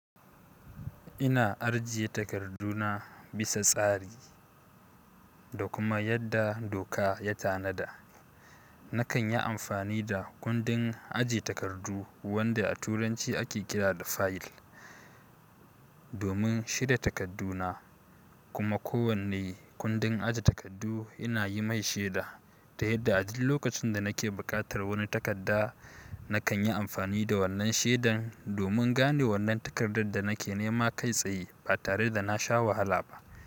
Ina ajiye takarduna bisa tsari da kuma yadda doka ya tanada. Nakan yi amfani da kundin ajiye takardu wanda a turanci ake kira da "file", domin shirya takardu na. Kuma kowane kundin ajiye takardu ina yi mai sheda ta yadda a duk lokacin da nake buƙatar wani takarda, nakan yi amfani da wannan shedan domin gane wannan takardar da nake nema kai tsaye ba tare da nasha wahala ba.